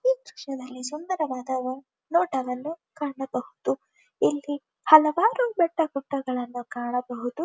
ಈ ದೃಶ್ಯದಲ್ಲಿ ಸುಂದರವಾದ ನೊಟವನ್ನು ಕಾಣಬಹುದು ಇಲ್ಲಿ ಹಲವಾರು ಬೆಟ್ಟೆ ಗುಡ್ಡಗಳನ್ನು ಕಾಣಬಹುದು.